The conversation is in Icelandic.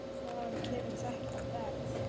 Hvaðan kemur þetta verð?